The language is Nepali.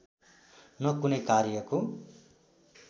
न कुनै कार्यको